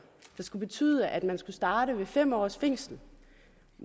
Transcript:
der skulle betyde at man skulle starte ved fem års fængsel